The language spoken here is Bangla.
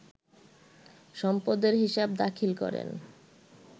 সম্পদের হিসাব দাখিল করেন